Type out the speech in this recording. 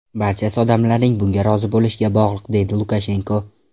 Barchasi odamlarning bunga rozi bo‘lishiga bog‘liq”, deydi Lukashenko.